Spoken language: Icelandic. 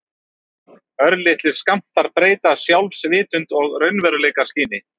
Örlitlir skammtar breyta sjálfsvitund og raunveruleikaskyni.